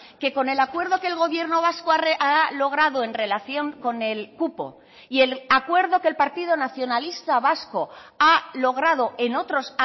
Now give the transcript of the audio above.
que con el acuerdo que el gobierno vasco ha logrado en relación con el cupo y el acuerdo que el partido nacionalista vasco ha logrado en otros